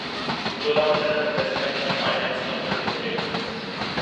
Cholamandalam investment ऐं finance company limited